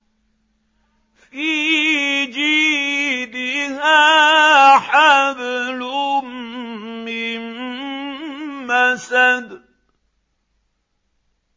فِي جِيدِهَا حَبْلٌ مِّن مَّسَدٍ